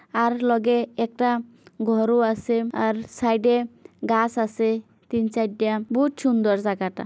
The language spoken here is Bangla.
আর লগে একটা ঘর ও আছে। আর সাইড -এ গাছ আছে তিন চাইরটা। বহুত সুন্দর জায়গাটা।